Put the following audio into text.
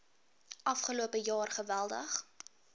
afgelope jaar geweldig